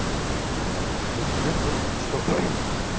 вот аа и проблема в том что